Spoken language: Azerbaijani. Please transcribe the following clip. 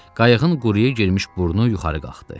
Qayığın quruyə girmiş burnu yuxarı qalxdı.